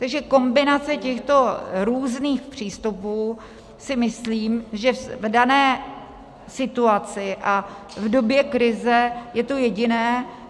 Takže kombinace těchto různých přístupů si myslím, že v dané situaci a v době krize je to jediné.